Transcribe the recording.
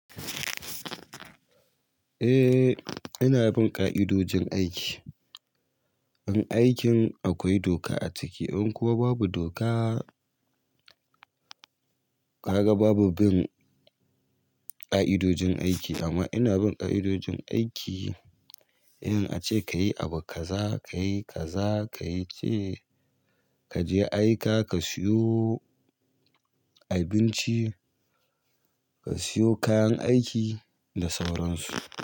Eh, ina bin ƙa'idojin aiki. In aikin akwai doka a ciki, in kuwa babu doka, kaga babu bin ƙa'idojin aiki amma ina bin ƙa'idojin aiki eh. In ace ka yi abu kaza ka yi ka za ka yi ce, kaje aika ka siyo abinci, ka siyo kayan aiki da sauran su.